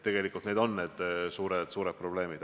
Tegelikult need on need suured probleemid.